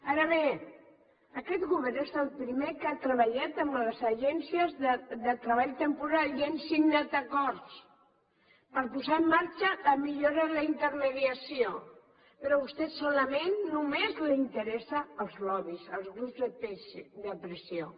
ara bé aquest govern és el primer que ha treballat amb les agències de treball temporal i hi hem signat acords per posar en marxa la millora de la intermediació però a vostè solament només li interessen els lobbys els grups de pressió